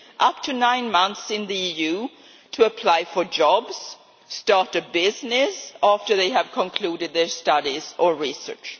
up to nine months in the EU to apply for jobs or start a business after they have concluded their studies or research.